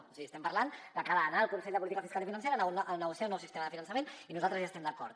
o sigui estem parlant que cal anar al consell de política fiscal i financera a negociar un nou sistema de finançament i nosaltres hi estem d’acord